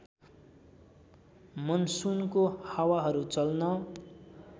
मनसुनको हावाहरू चल्न